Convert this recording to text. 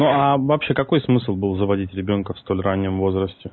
но аа вообще какой смысл был заводить ребёнка в столь раннем возрасте